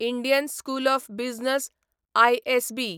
Indian School of Business ISB